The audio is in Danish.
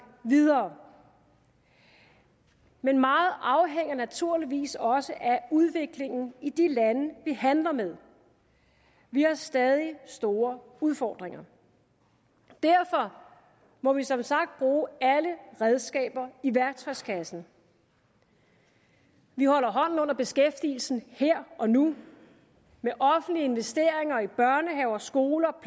videre men meget afhænger naturligvis også af udviklingen i de lande vi handler med vi har stadig store udfordringer derfor må vi som sagt bruge alle redskaber i værktøjskassen vi holder hånden under beskæftigelsen her og nu med offentlige investeringer i børnehaver og skoler og